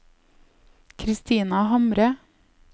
Christina Hamre